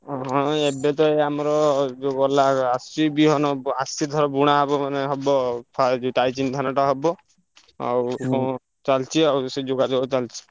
ହଁ ହଁ ଏବେତ ଏଇ ଆମର ଯୋଉ ଗଲା ଆସୁଚି ବିହନ ବ ଆସିଚି ଏଥର ବୁଣା ହବ ମାନେ ହବ ଧାନଟା ହବ। ଆଉ ଚାଲଚି ଆଉ ସେ ଯୋଗାଯୋଗ ଚାଲଚି।